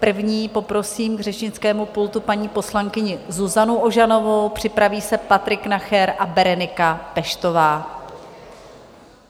První poprosím k řečnickému pultu paní poslankyni Zuzanu Ožanovou, připraví se Patrik Nacher a Berenika Peštová.